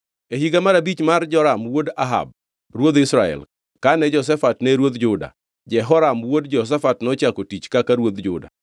E higa mar abich mar Joram wuod Ahab ruodh Israel, kane Jehoshafat ne ruodh Juda, Jehoram wuod Jehoshafat nochako tich kaka ruodh Juda.